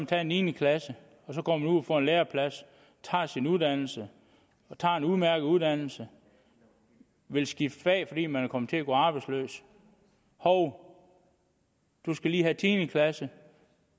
taget niende klasse og så går man ud og får en læreplads tager sin uddannelse tager en udmærket uddannelse vil skifte fag fordi man kommer til at gå arbejdsløs hov man skal lige have tiende klasse